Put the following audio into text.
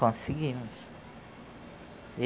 Conseguimos.